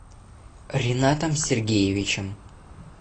ринатом сергеевичем